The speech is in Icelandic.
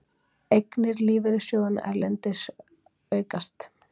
Eignir lífeyrissjóðanna erlendis aukast